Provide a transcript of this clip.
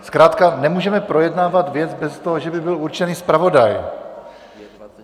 Zkrátka nemůžeme projednávat věc bez toho, že by byl určený zpravodaj.